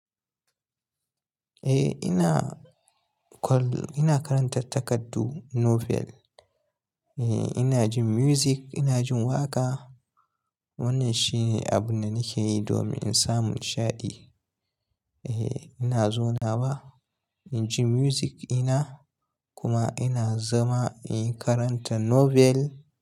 Eh ina call, ina karanta takardu novel. Eh ina jin music, ina jin waƙa. Wannan shine abin da nake yi domin in samu ni sha'aɗi. Eh ina zauna ba, inji music ina kuma ina zama in karanta novel.